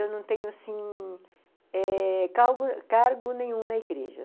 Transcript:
Eu não tenho assim... cargo nenhum na igreja.